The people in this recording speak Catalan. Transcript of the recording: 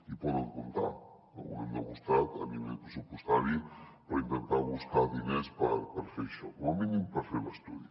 hi poden comptar que ho hem demostrat a nivell pressupostari per intentar buscar diners per fer això com a mínim per fer l’estudi